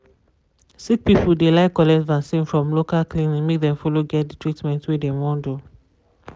sick people de like to collect vaccin from local clinic make dem follow get de treatment wey dem wan do.